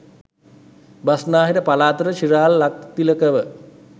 බස්නාහිර පළාතට ශිරාල් ලක්තිලකව